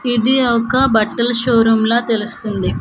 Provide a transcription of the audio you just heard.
ఇది ఒక బట్టల షోరూమ్ లా తెలుస్తుంది.